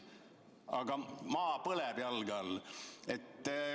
Aga maa põleb jalge all.